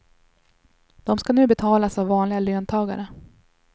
De ska nu betalas av vanliga löntagare.